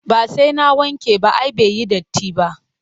Ba sai na wanke ba ai bai yi datti ba